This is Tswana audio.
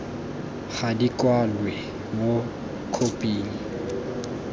ga di kwalwe mo khophing